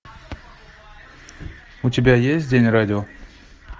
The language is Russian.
у тебя есть день радио